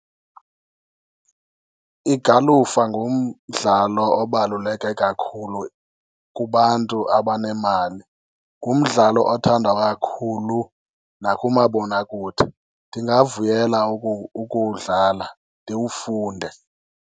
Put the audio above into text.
Igalufa ngumdlalo obaluleke kakhulu kubantu abanemali, ngumdlalo othandwa kakhulu nakumabonwakude. Ndingavuyela ukuwudlala ndiwufunde.